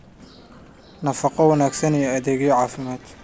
nafaqo wanaagsan, iyo adeegyo caafimaad.